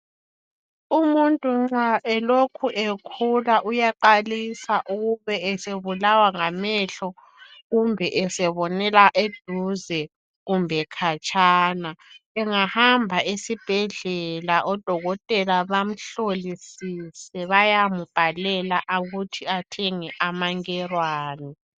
Umuntu nxa elokhu ekhula uyaqalisa ukube esebulawa ngamehlo kumbe esebonela eduze kumbe khatshana, engahamba esibhedlela odokotela bamhlolisise bayambhalela ukuthi athenge "amangerwani".